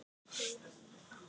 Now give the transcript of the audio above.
Geir Og Glitnir á morgun?